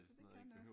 Så det kan noget